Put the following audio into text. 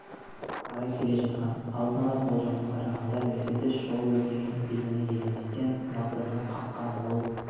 қарай келе жатқан алдын алаболжамға қарағанда мерседес жол бер деген белгіні елеместен мазданы қаққан ол